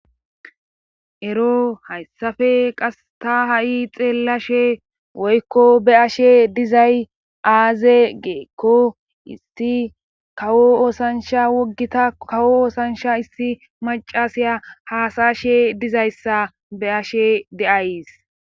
Ero hayssafe qas ta ha'i xeellashe woykko be ashe dizay aaze geekko isti kawo oosansha woggita kawo oosansha issi macasiya haasashe dizayssa be ashe deays.